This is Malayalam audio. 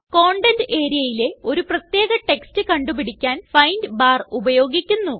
കണ്ടെന്റ് areaയിലെ ഒരു പ്രത്യേക ടെക്സ്റ്റ് കണ്ടു പിടിക്കാൻ ഫൈൻഡ് ബാർ ഉപയോഗിക്കുന്നു